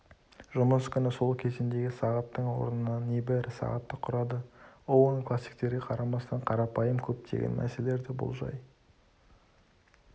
жұмыс күні сол кезендегі сағаттың орнына небәрі сағатты құрады оуэн классиктерге қарамастан қарапайым көптеген мәселерді болжай